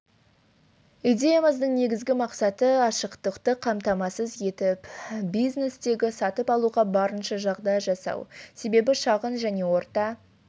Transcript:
идеямыздың негізгі мақсаты ашықтықты қамтамасыз етіп бизнестегі сатып алуға барынша жағдай жасау себебі шағын және орта